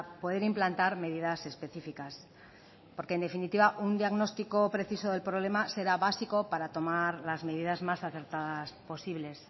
poder implantar medidas específicas porque en definitiva un diagnóstico preciso del problema será básico para tomar las medidas más acertadas posibles